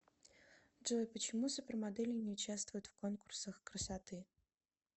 джой почему супермодели не участвуют в конкурсах красоты